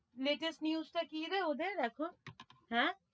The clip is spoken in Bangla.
Latest news টা কিরে ওদের এখন? হেঁ,